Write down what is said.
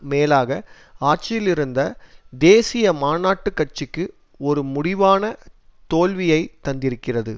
மேலாக ஆட்சியிலிருந்த தேசிய மாநாட்டு கட்சிக்கு ஒரு முடிவான தோல்வியை தந்திருக்கிறது